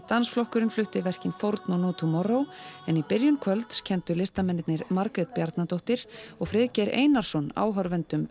dansflokkurinn flutti verkin fórn og no Tomorrow en í byrjun kvölds kenndu listamennirnir Margrét Bjarnadóttir og Friðgeir Einarsson áhorfendum